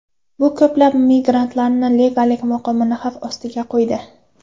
Bu ko‘plab migrantlarning legallik maqomini xavf ostiga qo‘ydi.